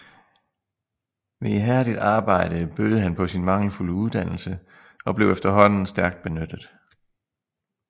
Ved ihærdigt arbejde bødede han på sin mangelfulde uddannelse og blev efterhånden stærkt benyttet